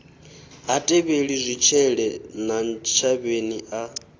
ha tevheli zwitshele ntshavheni a